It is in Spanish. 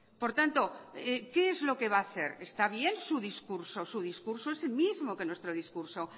por tanto qué es lo que va a hacer está bien su discurso su discurso es el mismo que nuestro discurso